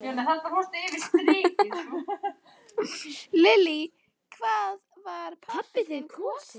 Lillý: Hvað var pabbi þinn kosinn?